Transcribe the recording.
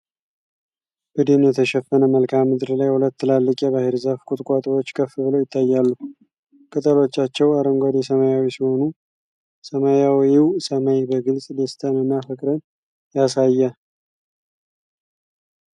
በደን የተሸፈነ መልክዓ ምድር ላይ ሁለት ትላልቅ የባሕር ዛፍ ቁጥቋጦዎች ከፍ ብለው ይታያሉ። ቅጠሎቻቸው አረንጓዴ-ሰማያዊ ሲሆኑ ሰማያዊው ሰማይ በግልጽ ደስታንና ፍቅርን ያሳያል።